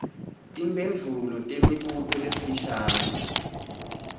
timphendvulo temibuto lemifishane